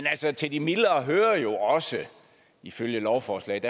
til de mildere hører jo også ifølge lovforslaget